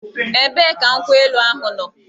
Ebee ka nkwụ elu ahụ nọ?